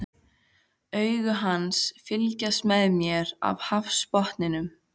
Augu hans fylgjast með mér af hafsbotninum.